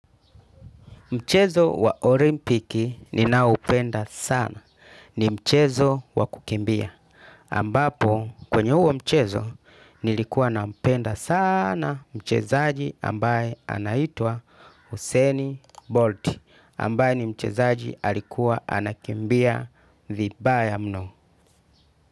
Mchezo wa Olimpiki ninaupenda sana. Ni mchezo wa kukimbia. Ambapo kwenye huo mchezo nilikuwa nampenda sana mchezaji ambaye anaitwa Hussein Bolt. Ambaye ni mchezaji alikuwa anakimbia vibaya mno.